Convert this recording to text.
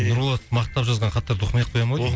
нұрболатты мақтап жазған хаттарды оқымай ақ коямын ау